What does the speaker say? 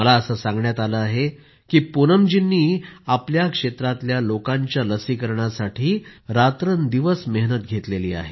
मला असं सांगण्यात आलं आहे की पूनमजींनी आपल्या क्षेत्रातल्या लोकांच्या लसीकरणासाठी रात्रंदिवस मेहनत घेतली आहे